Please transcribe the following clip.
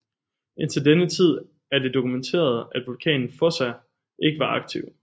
Indtil denne tid er det dokumenteret at vulkanen Fossa ikke var aktiv